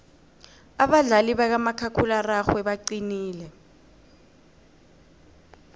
abadlali bakamakhakhulararhwe baqinile